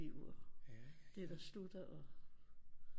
Liv og det der slutter og